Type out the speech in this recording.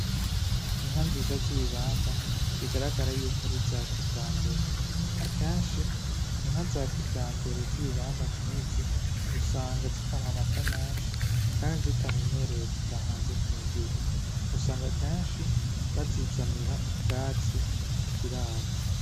Inka nziza z'ibibamba bigaragara yuko ari iza kijambere. Akenshi inka za kijambere z'ibibamba nkizi usanga zikamwa amata menshi kandi zitamenyereye kuja hanze kuragirwa. Usanga kenshi bazizanira ubwatsi mu kiraro.